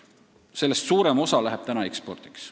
Sellest suurem osa läheb praegu ekspordiks.